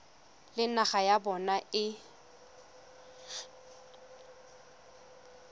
le naga ya bona e